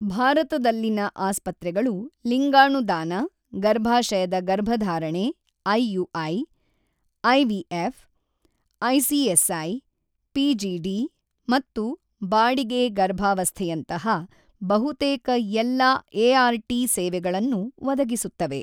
ಭಾರತದಲ್ಲಿನ ಆಸ್ಪತ್ರೆಗಳು ಲಿಂಗಾಣು ದಾನ, ಗರ್ಭಾಶಯದ ಗರ್ಭಧಾರಣೆ ಐಯುಐ, ಐವಿಎಫ್, ಐಸಿಎಸ್ಐ, ಪಿಜಿಡಿ ಮತ್ತು ಬಾಡಿಗೆ ಗರ್ಭಾವಸ್ಥೆಯಂತಹ ಬಹುತೇಕ ಎಲ್ಲಾ ಎ.ಆರ್.ಟಿ ಸೇವೆಗಳನ್ನು ಒದಗಿಸುತ್ತವೆ.